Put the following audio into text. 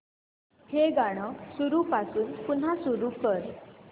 हे गाणं सुरूपासून पुन्हा सुरू कर